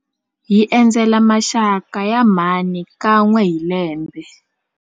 Hi endzela maxaka ya mhani kan'we hi lembe.